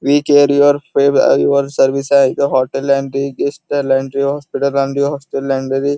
we care your fave your service आहे इथ hotel hospital --